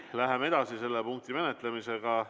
Läheme edasi selle punkti menetlemisega.